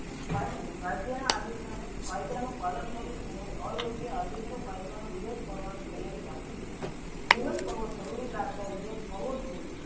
પાંચમી રાજ્ય ના આલીસાને કાયદા નું પાલન કરવું તેમજ અયોગ્ય આદેશો કાયદા નુ વિરોધ કરવાનની તૈયારી રાખવી જોયીયે વિરોધ કરવું જરૂરી લગતા વિરોધ કરવો જ જોયીયે.